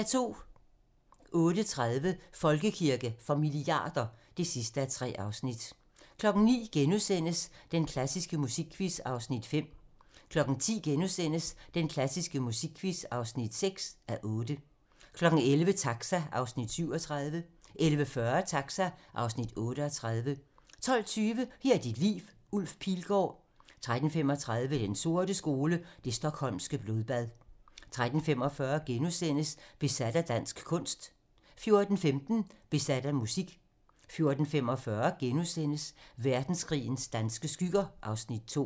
08:30: Folkekirke for milliarder (3:3) 09:00: Den klassiske musikquiz (5:8)* 10:00: Den klassiske musikquiz (6:8)* 11:00: Taxa (Afs. 37) 11:40: Taxa (Afs. 38) 12:20: Her er dit liv - Ulf Pilgaard 13:35: Den sorte skole: Det Stockholmske Blodbad 13:45: Besat af dansk kunst * 14:15: Besat af musik 14:45: Verdenskrigens danske skygger (Afs. 2)*